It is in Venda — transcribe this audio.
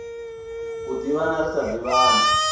u ḓivhana ri sa ḓivhani